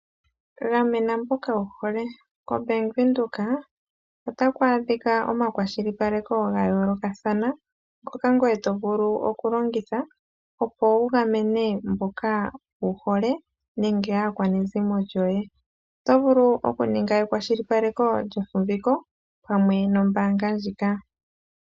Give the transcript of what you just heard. Gamena mboka wu hole, kombaanga yaVenduka otaku adhika omakwashilipaleko ga yoolokathana. Ngoka ngoye to vulu oku longitha opo wu gamene mboka wuhole nenge aakwanezimo lyoye. Oto vulu wo oku ninga ekwashilipaleko lyefumbiko pamwe nombaanga ndjika.